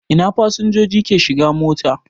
Ina fasinjoji ke shigan mota.